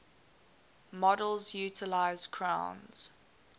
models utilise crown's